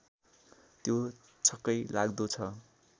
त्यो छक्कै लाग्दो छ